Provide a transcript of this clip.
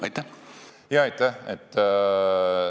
Aitäh!